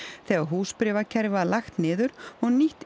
þegar húsbréfakerfið var lagt niður og nýtt